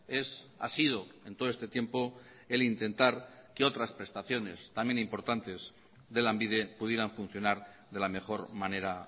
es ha sido en todo este tiempo el intentar que otras prestaciones también importantes de lanbide pudieran funcionar de la mejor manera